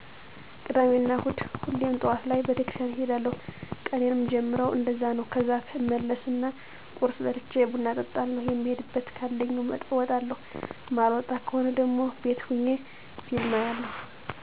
ቅዳሜና እሁድ ሁሌም ጠዋት ላይ ቤተክርስቲያን እሄዳለዉ ቀኔን ምጀምረዉ እንደዛ ነዉ ከዛ እመለስና ቁርስ በልቸ ቡና እጠጣለዉ የምሄድበት ካለኝ አወጣለዉ ማልወጣ ከሆነ ደሞ ቤት ሆኘ ፊልም አያለዉ